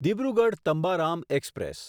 Dibrugarh Tambaram express